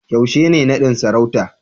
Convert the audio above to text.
yaushe ne nadin sarauta